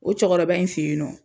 O cɔkɔrɔba in fe yen nɔ